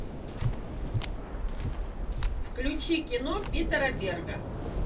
включи кино питера берга